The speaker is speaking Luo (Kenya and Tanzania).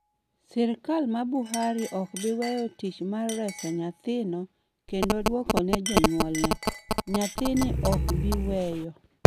"Sirkal mar Buhari ok bi weyo tich mar reso nyathino kendo duoko ne jonyuolne. Nyathini ok bi weyo".